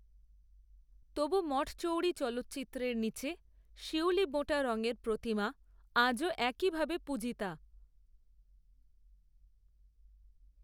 তবু মঠচৌরি চালচিত্রের নীচে, শিউলিবোঁটা রঙের প্রতিমা আজও একই ভাবে পূজিতা